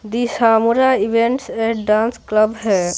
दिशामुरा events and dance club है।